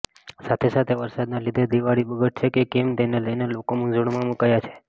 સાથે સાથે વરસાદના લીધે દિવાળી બગડશે કે કેમ તેને લઈને લોકો મુંઝવણમાં મુકાયા છે